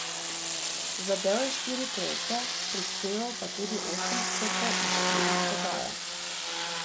Zadel je štiri trojke, prispeval pa tudi osem skokov in štiri podaje.